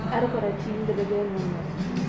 әрі қарай түйіндіде